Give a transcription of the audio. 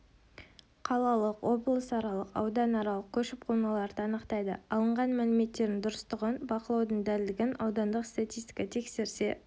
қалалық облысаралық аудан аралық көшіп-қонуларды анықтайды алынған мәліметтердің дұрыстығын бақылаудың дәлдігін аудандық статистика тексерсе